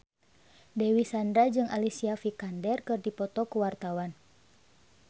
Dewi Sandra jeung Alicia Vikander keur dipoto ku wartawan